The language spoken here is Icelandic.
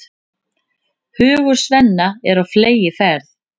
Hugur Svenna er á fleygiferð.